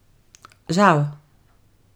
Žal.